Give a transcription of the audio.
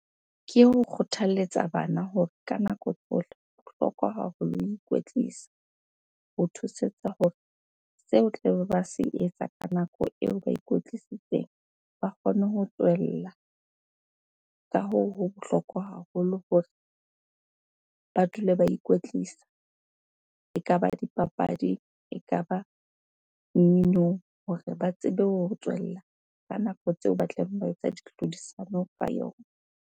Ke ho kgothalletsa bana hore ka nako tsohle bohlokwa haholo ho ikwetlisa. Ho thusetsa hore seo o tlabe ba se etsa ka nako eo ba ikwetlisitseng, ba kgone ho tswella. Ka hoo, ho bohlokwa haholo hore ba dule ba ikwetlisa. Ekaba dipapadi, ekaba mminong hore ba tsebe ho tswella ka nako tseo ba tlabeng ba etsa di tlhodisano ka yona.